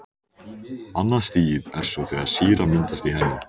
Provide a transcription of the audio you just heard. Annað stigið er svo þegar sýra myndast í henni.